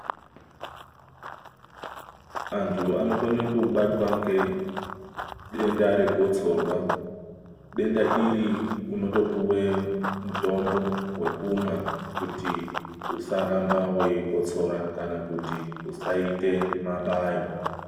Antu anokone kubatwa ngedenda regotsorwa .Denda iri unotopiwa mutombo wekumwa kuti usaramba waikotsora kana kuti usaita mabayo.